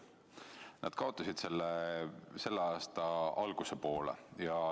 Nad kaotasid töö selle aasta alguse poole.